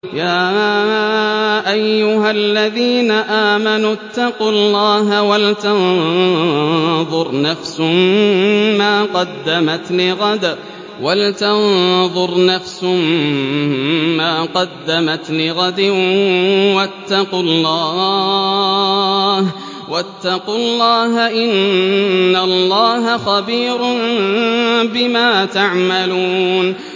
يَا أَيُّهَا الَّذِينَ آمَنُوا اتَّقُوا اللَّهَ وَلْتَنظُرْ نَفْسٌ مَّا قَدَّمَتْ لِغَدٍ ۖ وَاتَّقُوا اللَّهَ ۚ إِنَّ اللَّهَ خَبِيرٌ بِمَا تَعْمَلُونَ